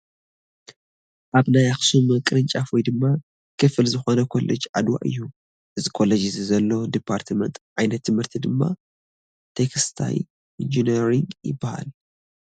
ካብ ናይ ኣክሱም ቅርጫፍ ወይ ድማ ክፋል ዝኮነ ኮሌጅ ኣድዋ እዩ። ኣብዚ ኮሌጅ እዚ ዘሎ ድፓርትመት(ዓይነት ትምህርቲ ) ድማ ቴክስታይ ኢንጀነሪግ ይበሃል።